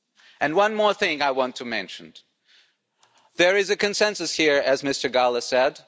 And one more thing I want to mention there is a consensus here, as Mr Gahler said.